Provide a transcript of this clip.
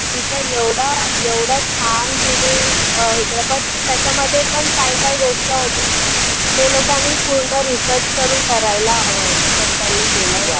तिचं एवढं एवढा छान तिने अं हे केला but त्याच्यामध्ये पण काही काही गोष्टी होती, ते लोकांनी पूर्ण research करून करायला हवं होतं but त्यांनी केला नाही.